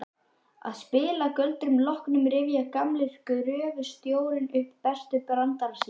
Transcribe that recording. Að spilagöldrunum loknum rifjar gamli gröfustjórinn upp bestu brandarana sína.